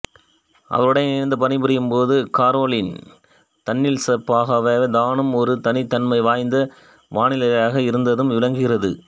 அவருடன் இணைந்து பணிபுரியும்போது கரோலின் தன்னியல்பாகவே தானும் ஒரு தனித்தன்மை வாய்ந்த வானியலாளராக இருந்ததும் விளங்குகிறது